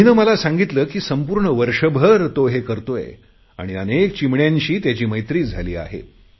अभिने मला सांगितले की संपूर्ण वर्षभर तो हे करतोय आणि अनेक चिमण्यांशी त्याची मैत्री झाली आहे